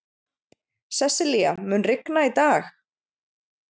Sessilía, mun rigna í dag?